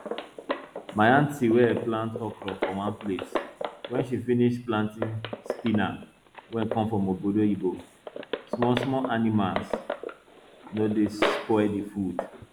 my aunty dey plant okra for one place when she finish planting spinach wey come from obodo oyinbo smallsmall animals no dey spoil the food